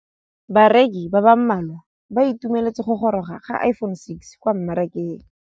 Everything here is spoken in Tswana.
Bareki ba ba malwa ba ituemeletse go gôrôga ga Iphone6 kwa mmarakeng.